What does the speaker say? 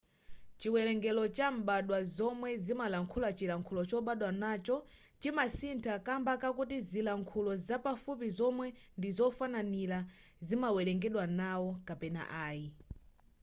chiwerengero cha mbadwa zomwe zimalankhula chilankhulo chobadwa nacho chimasintha kamba kakuti zilankhulo zapafupi zomwe ndizofananira zimawerengedwa nawo kapena ayi